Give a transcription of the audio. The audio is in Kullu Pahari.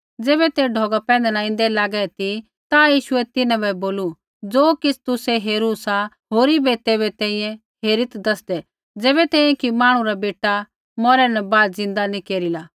ज़ैबै ते ढौगा पैंधै न ऐन्दै लागै ती ता यीशुऐ तिन्हां बै बोलू ज़ो किछ़ तुसै हेरू सा होरी बै तैबै तैंईंयैं हेरीत् दसदै ज़ैबै तैंईंयैं कि मांहणु रा बेटा मौरै न बाद ज़िन्दा नी केरिला